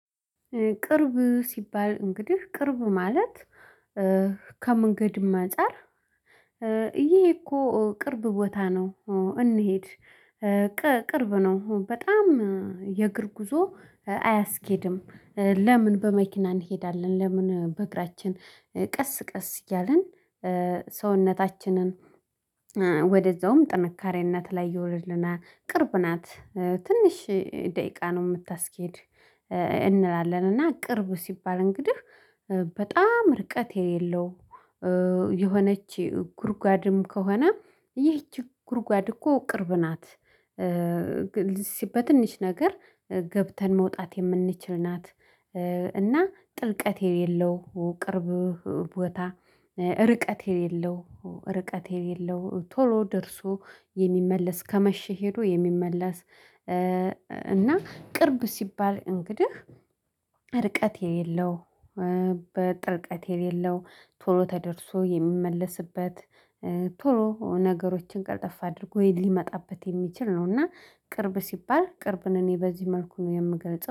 ቅርብ ሲባል እንግዲህ ቅርብ ማለት ከመንገድም አንፃር ይሄ እኮ ቅርብ ቦታ ነው እንሂድ ቅርብ ነው በጣም የእግር ጉዞ አያስኬድም። ለምን በመኪና እንሄዳለን? ለምን በእግራችን? ቀስ ቀስ እያልን ሰውነታችንን ወደዛውም ጥንካሬነት ላይ ይወርድናል። ቅርብ ናት ትንሽ ደቂቃ ነው የምታስኬድ እንላለን። እና ቅርብ ሲባል እንግዲህ በጣም ርቀት የሌለው የሆነች ጉርጓድም ከሆነ ይህች ጉርጓድ እኮ ቅርብ ናት። ሲ በትንሽ ነገር ገብተን መውጣት የምንችል ናት። እና ጥልቀት የሌለው ቅርብ ቦታ ርቀት የሌለው ርቀት የሌለው ቶሎ ደርሶ የሚመለስ ከመሼ ሄዶ የሚመለስ። እና ቅርብ ሲባል እንግዲህ ርቀት የሌለው። በጥልቀት የሌለው ቶሎ ተደርሶ የሚመለስበት ቶሎ ነገሮችን ቀልጠፍ አድርጎ ሊመጣበት የሚችል ነው። እና ቅርብ ሲባል ቅርብን እኔ በዚህ መልኩ ነው የምገልጸው